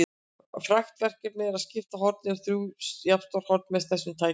Frægt verkefni er að skipta horni í þrjú jafnstór horn með þessum tækjum.